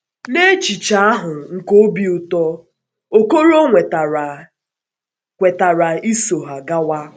Na echiche ahụ nke obi ụtọ, Okoro kwetara kwetara iso ha gawa.